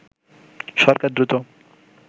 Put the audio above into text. সরকার দ্রুত